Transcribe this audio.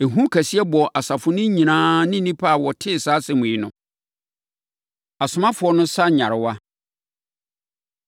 Ehu kɛseɛ bɔɔ asafo no nyinaa ne nnipa a wɔtee saa asɛm yi no. Asomafoɔ No Sa Nyarewa